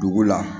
Dugu la